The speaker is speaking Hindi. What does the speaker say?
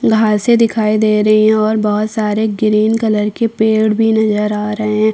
घासें दिखाई दे रही है और बहुत सारे ग्रीन कलर के पेड़ भी नजर आ रहे हैं।